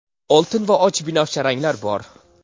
oltin va och binafsha ranglari bor.